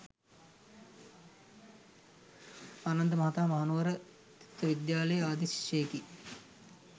ආනන්ද මහතා මහනුවර ත්‍රිත්ව විද්‍යාලයේ ආදි ශිෂ්‍යයෙකි.